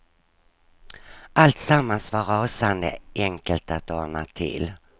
Alltsammans var rasande enkelt att ordna till.